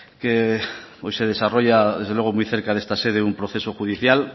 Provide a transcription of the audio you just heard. hoy se desarrolla muy cerca de esta sede un proceso judicial